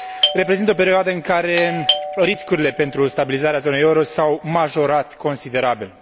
Reprezintă o perioadă în care riscurile pentru stabilizarea zonei euro s au majorat considerabil.